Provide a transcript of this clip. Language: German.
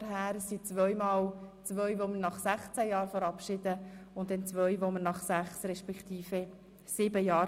Zwei Personen verabschieden wir nach 16 Jahren, eine nach sieben und eine nach sechs Jahren im Gossen Rat.